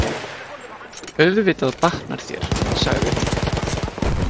Auðvitað batnar þér, sagði hún.